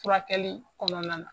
Furakɛli kɔnɔna na.